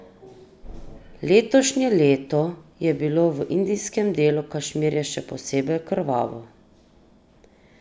Letošnje leto je bilo v indijskem delu Kašmirja še posebej krvavo.